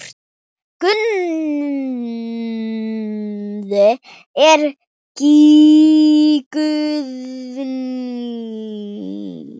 Guðni eða Guðný.